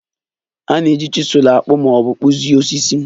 A na-eji chizul akpụ ma ọ bụ kpụzie osisi